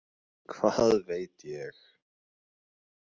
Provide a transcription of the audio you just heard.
Hvað veit ég?